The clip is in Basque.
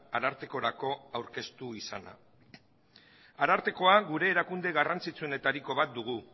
arartekorako aurkeztu izana arartekoa gure erakunde garrantzitsuenetariko bat dugu